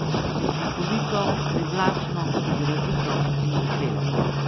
Učinkovito, privlačno, izrazito in veselo.